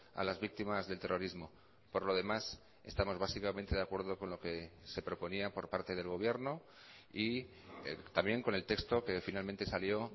a las víctimas del terrorismo por lo demás estamos básicamente de acuerdo con lo que se proponía por parte del gobierno y también con el texto que finalmente salió